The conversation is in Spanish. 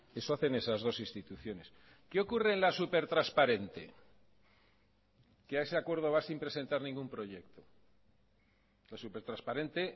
eso hacen esas dos instituciones qué ocurre en la supertransparente que a ese acuerdo va sin presentar ningún proyecto la supertransparente